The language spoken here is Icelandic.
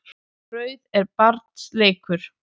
Brauð er barns leikur.